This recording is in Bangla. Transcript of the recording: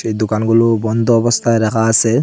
দুকানগুলো বন্ধ অবস্থায় রাখা আসে।